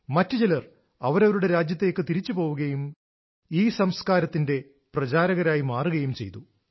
മറ്റു ചിലർ അവരവരുടെ രാജ്യത്തേക്ക് തിരിച്ചുപോകുകയും ഈ സംസ്കാരത്തിന്റെ പ്രചാരകന്മാരായി മാറുകയും ചെയ്തു